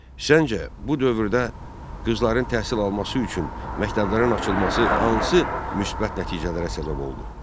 Səncə, bu dövrdə qızların təhsil alması üçün məktəblərin açılması hansı müsbət nəticələrə səbəb oldu?